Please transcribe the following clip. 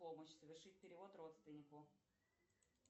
помощь совершить перевод родственнику